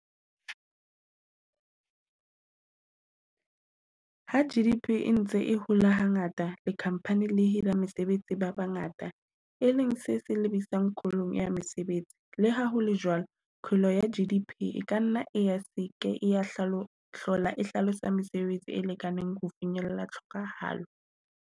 Ha G_D_P e ntse e hola hangata di-company di hira mesebetsi ba bangata e leng se se lebisang kholong ya mesebetsi. Le ha hole jwalo, kgolo ya G_D_P e ka nna ya seke ya hlola e hlalosa mesebetsi e lekaneng ho finyella tlhokahalo.